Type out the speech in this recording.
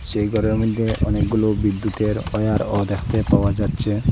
এই ঘরের মইধ্যে অনেকগুলো বিদ্যুতের ওয়্যারও দেখতে পাওয়া যাচ্ছে।